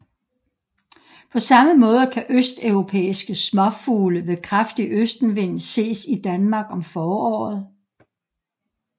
På samme måde kan østeuropæiske småfugle ved kraftig østenvind ses i Danmark om foråret